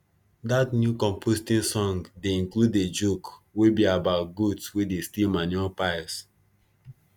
dat new composting song dey include a joke wey be about goats wey dey steal manure piles